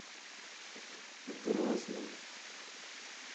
грозным